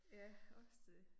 Ja også det